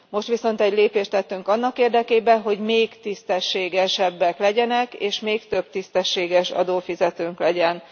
Most viszont egy lépést tettünk annak érdekében, hogy még tisztességesebbek legyenek, és még több tisztességes adófizetőnk legyen.